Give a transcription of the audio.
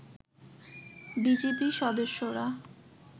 BGB সদস্যরা